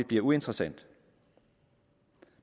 bliver uinteressant